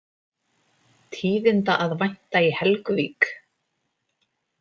Tíðinda að vænta í Helguvík